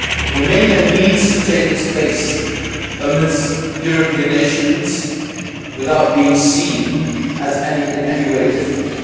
Romania needs to take its place amid the European nations without being seen as in any way different.